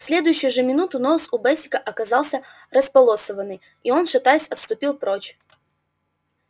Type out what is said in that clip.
в следующую же минуту нос у бэсика оказался располосованный и он шатаясь отступил прочь